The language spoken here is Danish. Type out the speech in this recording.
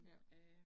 Ja